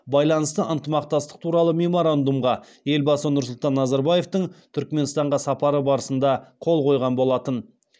байланысты ынтымақтастық туралы меморандумға елбасы нұрсұлтан назарбаевтың түрікменстанға сапары барысында қол қойылған болатын